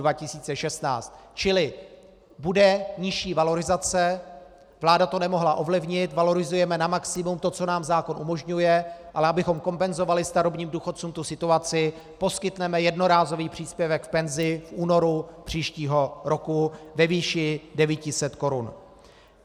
Čili bude nižší valorizace, vláda to nemohla ovlivnit, valorizujeme na maximum to, co nám zákon umožňuje, ale abychom kompenzovali starobním důchodcům tu situaci, poskytneme jednorázový příspěvek k penzi v únoru příštího roku ve výši 900 korun.